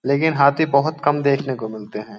लेकिन हाथी बहुत कम देखने को मिलते हैं।